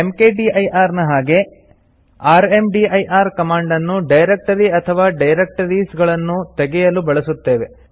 ಮ್ಕ್ದಿರ್ ನ ಹಾಗೆ rmdir command ಅನ್ನು ಡೈರೆಕ್ಟರಿ ಅಥವಾ ಡೈರಕ್ಟರಿಸ್ ಗಳನ್ನು ತೆಗೆಯಲು ಬಳಸುತ್ತೇವೆ